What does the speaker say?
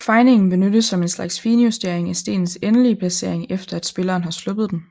Fejningen benyttes som en slags finjustering af stenens endelige placering efter at spilleren har sluppet den